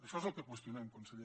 això és el que qüestionem conseller